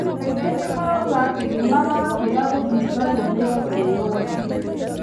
Andũ maĩngĩ marauga atĩ nĩmarakĩra kũthingatwo nĩ ekirworo acu